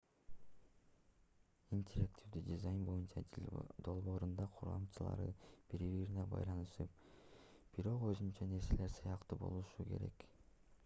интерактивдүү дизайн боюнча долбоордун курамчалары бири-бирине байланышып бирок өзүнчө нерселер сыяктуу болушу керек